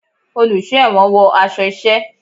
Oluso ẹwọ́n wọ aṣọ iṣẹ